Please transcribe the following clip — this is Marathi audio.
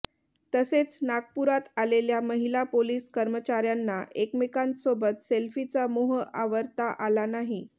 तसेच नागपुरात आलेल्या महिला पोलिस कर्मचाऱ्यांना एकमेकांसोबत सेल्फीचा मोह आवरता आला नाही